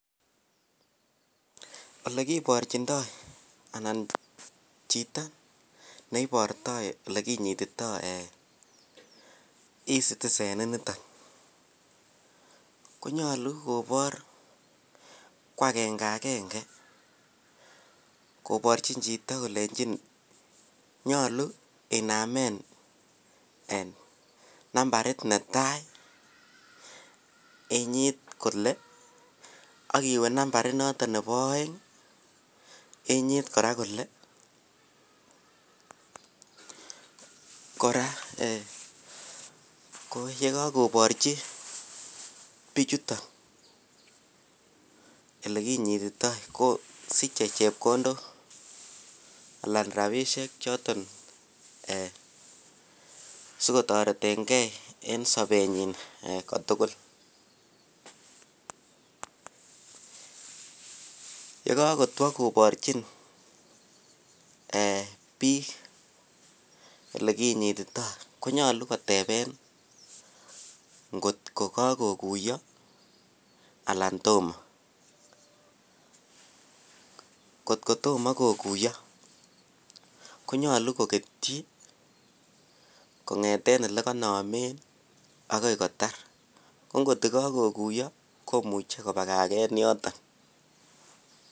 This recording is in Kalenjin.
Olekiborchindo anan chito neiborto ilekinyitito ee Ecitizen initon, konyolu kobor ko agenge agenge koborchin chito kolenjin nyolu inamen en nambarit netai inyit kole ak iwe nambarit noton nebo oeng' inyit kora kole kora ee kou ye kokoborchi bichuton ilekinyitito kosiche chepkondok alan rabinisiechoton en sikotoretenkei en sobenyin kotukul. Ye kokotwo koborchin ee bik ilekinyitito konyolu koteb ngotko kokokuyo alan tomo. Kotko tomo kokuyo konyolu koketyi kong'eten ilekonomen agoi kotar, ko ngotko kokokuyo konyolu kobagagen yoton.